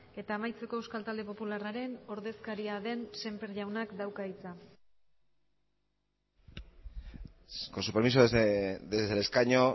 eta amaitzeko euskal talde popularraren ordezkaria den semper jaunak dauka hitza con su permiso desde el escaño